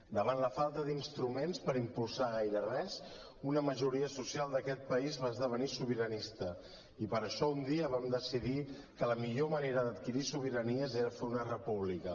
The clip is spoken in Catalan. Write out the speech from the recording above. davant la falta d’instruments per impulsar gaire res una majoria social d’aquest país va esdevenir sobiranista i per això un dia vam decidir que la millor manera d’adquirir sobiranies era fer una república